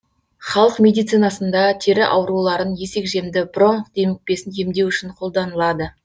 халық медицинасында тері ауруларын есекжемді бронх демікпесін емдеу үшін қолданылады